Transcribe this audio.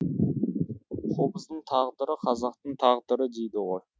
қобыздың тағдыры қазақтың тағдыры дейді ғой